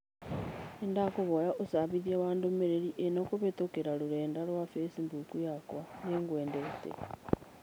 Nĩndakũhoya úcabithia ndũmĩrĩri ĩnokũhītũkīra rũrenda rũa facebook yakwa. Nĩngwendete.